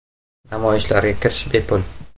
Namoyishlarga kirish bepul.